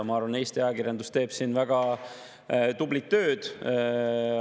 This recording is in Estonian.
Ma arvan, et Eesti ajakirjandus teeb siin väga tublit tööd.